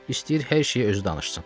İstəyir hər şeyi özü danışsın."